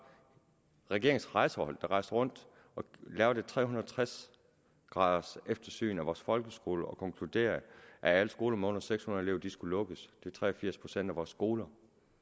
regeringens rejsehold der rejste rundt og lavede et tre hundrede og tres graders eftersyn af vores folkeskole og konkluderede at alle skoler med under seks hundrede elever skulle lukkes det er tre og firs procent af vores skoler